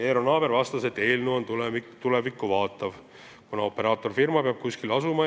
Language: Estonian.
Eero Naaber vastas, et eelnõu on tulevikku vaatav, kuna operaatorfirma peab kuskil asuma.